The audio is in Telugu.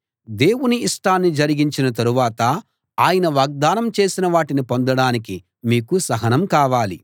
దేవుని ఇష్టాన్ని జరిగించిన తరువాత ఆయన వాగ్దానం చేసిన వాటిని పొందడానికి మీకు సహనం కావాలి